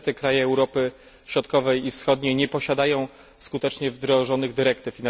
Niestety kraje Europy Środkowej i Wschodniej nie posiadają skutecznie wdrożonych dyrektyw.